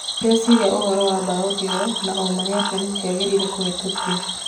" Nĩndecĩririe ũhoro wa mbaũ ĩyo na ũũma nĩatĩ ndĩagĩrĩire kũhetũkio".